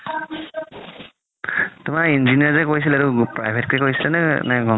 তুমাৰ engineering যে কৰিছিলে এইতো private কে কৰিছিলা নে